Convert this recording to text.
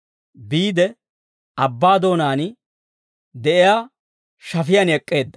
biide abbaa doonaan de'iyaa shafiyaan ek'k'eedda.